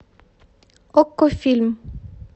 окко фильм